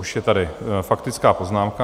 Už je tady faktická poznámka.